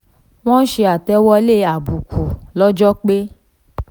wọ́n ṣe àtẹ̀wọlé àbùkù lọ́jọ́ pé